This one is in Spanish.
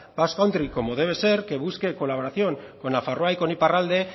basque country como debe ser que busque colaboración con nafarroa y con iparralde